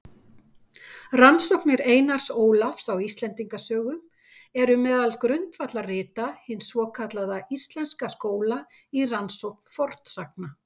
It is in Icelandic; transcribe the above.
Rannsóknir Einars Ólafs á Íslendingasögum eru meðal grundvallarrita hins svokallaða íslenska skóla í rannsókn fornsagna.